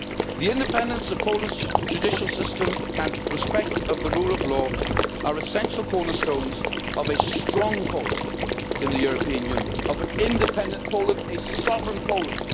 The independence of Poland's judicial system and its respect of the rule of law are essential cornerstones for a strong Poland in the European Union, for an independent Poland, a sovereign Poland.